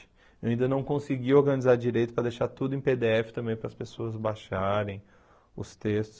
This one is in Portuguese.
Eu ainda não consegui organizar direito para deixar tudo em pê dê efe também, para as pessoas baixarem os textos.